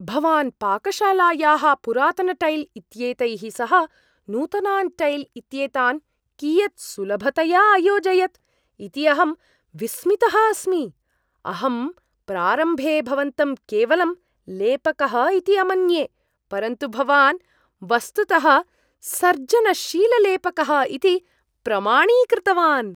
भवान् पाकशालायाः पुरातनटैल् इत्येतैः सह नूतनान् टैल् इत्येतान् कियत् सुलभतया अयोजयत् इति अहं विस्मितः अस्मि, अहं प्रारम्भे भवन्तं केवलं लेपकः इति अमन्ये, परन्तु भवान् वस्तुतः सर्जनशीललेपकः इति प्रमाणीकृतवान्।